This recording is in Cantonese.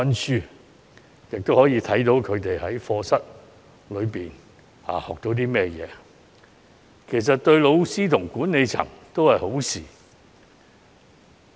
這樣既可以了解子女在課室所學，對老師及管理層都是好事。